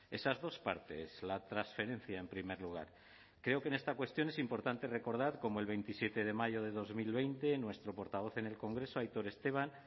esas dos partes la transferencia en primer lugar creo que en esta cuestión es importante recordar cómo el veintisiete de mayo de dos mil veinte nuestro portavoz en el congreso aitor esteban